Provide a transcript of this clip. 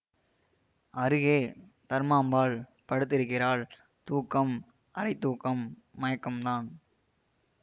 அருகே தர்மாம்பாள் படுத்திருக்கிறாள் தூக்கம் அரைத்தூக்கம் மயக்கம்தான்